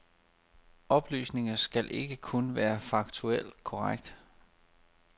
Oplysninger skal ikke kun være faktuelt korrekte.